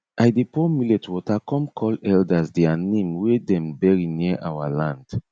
i dey pour millet water come call elders dia name wey dem bury near our land